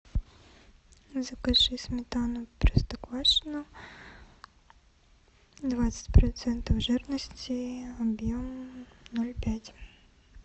закажи сметану простоквашино двадцать процентов жирности объем ноль пять